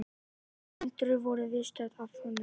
Fleiri hundruð voru viðstödd athöfnina